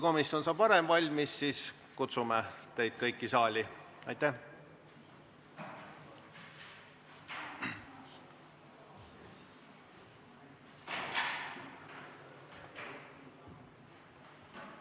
Kuulutan hääletamise Riigikogu aseesimeeste valimisel lõppenuks.